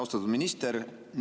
Austatud minister!